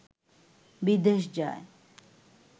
বিদেশ যায়